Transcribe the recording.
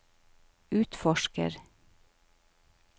utforsker